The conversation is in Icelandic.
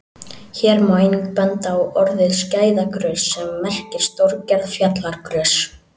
Hér má einnig benda á orðið skæðagrös sem merkir stórgerð fjallagrös.